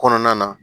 Kɔnɔna na